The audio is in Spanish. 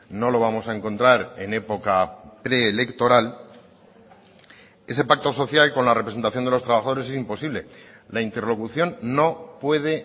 no lo vamos a encontrar en época preelectoral ese pacto social con la representación de los trabajadores es imposible la interlocución no puede